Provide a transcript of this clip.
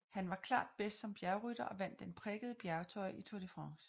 Han var klart bedst som bjergrytter og vandt Den prikkede bjergtrøje i Tour de France